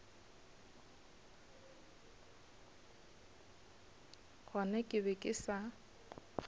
gona ke be ke sa